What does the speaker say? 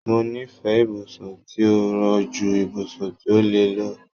Mo nífẹẹ ibùsùn tí ó rọ̀ ju ibùsùn tí ó le lọ.